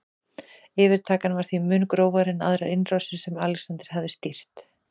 Yfirtakan var því mun grófari en aðrar innrásir sem Alexander hafði stýrt.